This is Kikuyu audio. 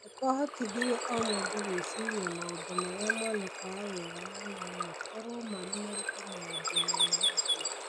nĩ kwahotithirie o mũndũ gwĩciria maũndũ marĩa monekaga wega na no makorwo marĩ maritũ maũndũ-inĩ ma ndũire